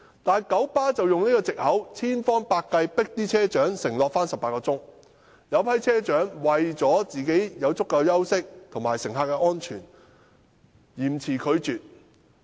但九巴卻以此為藉口，千方百計迫令車長承諾每周上班18小時，其中一些車長為了讓自己有足夠的休息，以及顧及乘客的安全，便嚴詞拒絕。